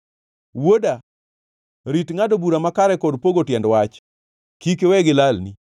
Wuoda, rit ngʼado bura makare kod pogo tiend wach, kik iwe gilalni.